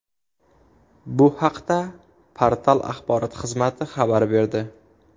Bu haqda portal axborot xizmati xabar berdi .